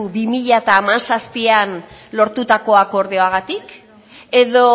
bi mila hamazazpian lortutako akordioagatik edo